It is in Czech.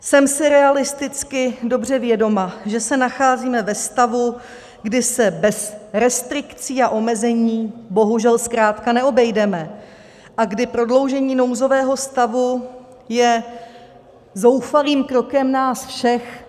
Jsem si realisticky dobře vědoma, že se nacházíme ve stavu, kdy se bez restrikcí a omezení bohužel zkrátka neobejdeme a kdy prodloužení nouzového stavu je zoufalým krokem nás všech.